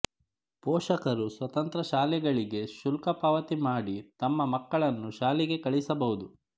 ಪೋಷಕರು ಸ್ವತಂತ್ರ ಶಾಲೆಗಳಿಗೆ ಶುಲ್ಕ ಪಾವತಿ ಮಾಡಿ ತಮ್ಮ ಮಕ್ಕಳನ್ನು ಶಾಲೆಗೆ ಕಳಿಸಬಹುದು